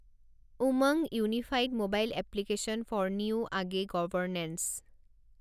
UMANG unified mobile application for new age governance